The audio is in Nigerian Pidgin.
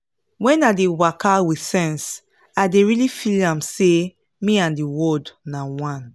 wen i dey waka with sense i dey really feel am say me and the world na one